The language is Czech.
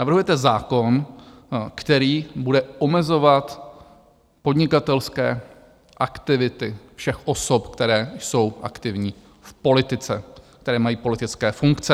Navrhujete zákon, který bude omezovat podnikatelské aktivity všech osob, které jsou aktivní v politice, které mají politické funkce.